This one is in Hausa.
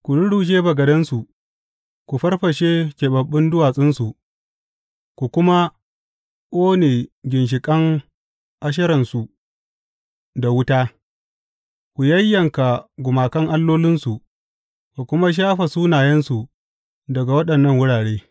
Ku rurrushe bagadansu, ku farfashe keɓaɓɓun duwatsunsu, ku kuma ƙone ginshiƙan Asheransu da wuta; ku yayyanka gumakan allolinsu, ku kuma shafe sunayensu daga waɗannan wurare.